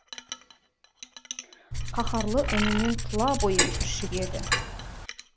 қаһарлы үнінен тұла бойың түршігеді